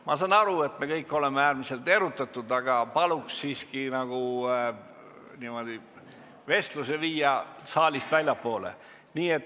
Ma saan aru, et me kõik oleme äärmiselt erutatud, aga paluks siiski vestluse viia saalist väljapoole.